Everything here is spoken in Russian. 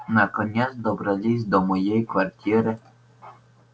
наконец добрались до моей квартиры